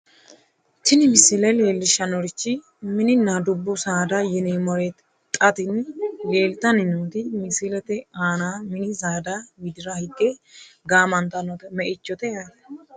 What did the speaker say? tini misile leellishshannorichi mininna dubbu saada yineemmoreeti xa tini leeltanni nooti misilete aana mini saada widira higge gaamantannote me"ichote yaate.